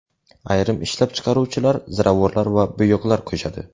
Ayrim ishlab chiqaruvchilar ziravorlar va bo‘yoqlar qo‘shadi.